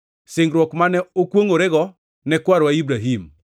singruok mane okwongʼorego ne kwarwa Ibrahim: